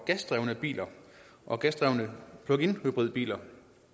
gasdrevne biler og gasdrevne pluginhybridbiler